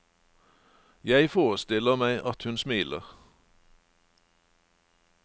Jeg forestiller meg at hun smiler.